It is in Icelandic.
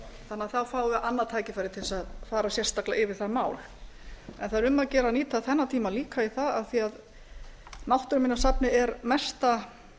að það fái annað tækifæri til þess að fara sérstaklega yfir það mál það er um að gera að nýta þennan tíma líka í það af því náttúruminjasafnið er mesta